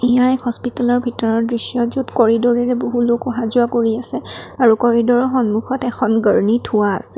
এয়া এক হস্পিতালৰ ভিতৰৰ দৃশ্য য'ত কৰিড'ৰেৰে বহু লোক অহা যোৱা কৰি আছে আৰু কৰিড'ৰৰ সন্মুখত এখন গাৰ্ণী থোৱা আছে।